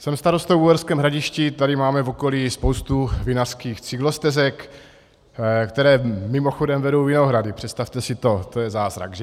Jsem starostou v Uherském Hradišti, tady máme v okolí spoustu vinařských cyklostezek, které mimochodem vedou vinohrady, představte si to, to je zázrak, že.